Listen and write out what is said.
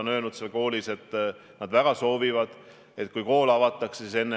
Kui te küsite, kas on otsustatud ära, et, ma ei tea, ülikoolid ja instituudid koduõppele panna, siis vastus on, et ei ole.